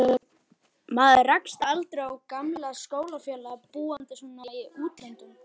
Maður rekst aldrei á gamla skólafélaga, búandi svona í útlöndum.